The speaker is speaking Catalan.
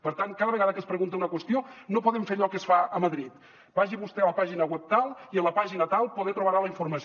per tant cada vegada que es pregunta una qüestió no podem fer allò que es fa a madrid vagi vostè a la pàgina web tal i a la pàgina tal poder trobarà la informació